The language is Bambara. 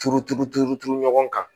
Turuturu turu turu ɲɔgɔn kan